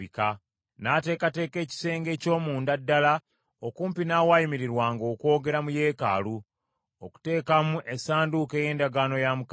N’ateekateeka ekisenge eky’omunda ddala okumpi n’awaayimirirwanga okwogera mu yeekaalu, okuteekamu essanduuko ey’endagaano ya Mukama .